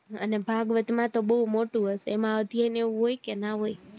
અને ભાગવત માં તો બૌ મોટું હશે એમાં અધ્યાય કે એવું હોય કે ના હોય